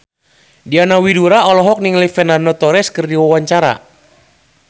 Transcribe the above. Diana Widoera olohok ningali Fernando Torres keur diwawancara